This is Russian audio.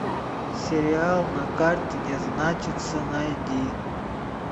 сериал на карте не значится найди